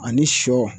Ani sɔ